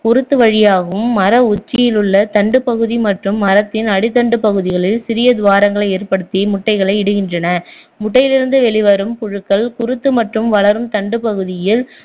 குருத்து வழியாகவும் மர உச்சியிலுள்ள தண்டுப்பகுதி மற்றும் மரத்தின் அடித்தண்டுப் பகுதிகளில் சிறிய துவாரங்களை ஏற்படுத்தி முட்டைகளை இடுகின்றன முட்டையிலிருந்து வெளிவரும் புழுக்கள் குருத்து மற்றும் வளரும் தண்டுப் பகுதியில்